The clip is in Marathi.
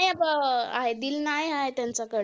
आहे आहे त्यांच्या कडे.